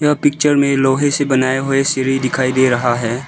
ये पिक्चर में लोहे से बनाये हुए सीढ़ी दिखाई दे रहा है।